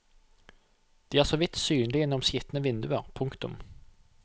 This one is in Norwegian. De er så vidt synlige gjennom skitne vinduer. punktum